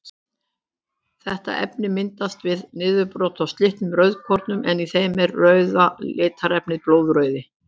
Þetta efni myndast við niðurbrot á slitnum rauðkornum en í þeim er rauða litarefnið blóðrauði.